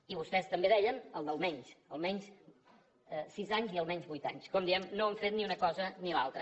i vostès també deien això de l’ almenys almenys sis anys i almenys vuit anys com diem no han fet ni una cosa ni l’altra